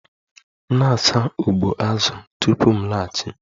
Na-asa ụgbụ azụ tupu m laghachi!